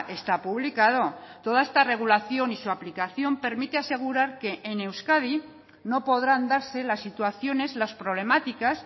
está publicado toda esta regulación y su aplicación permite asegurar que en euskadi no podrán darse las situaciones las problemáticas